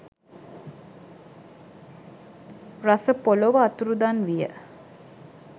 රස පොළොව අතුරුදන් විය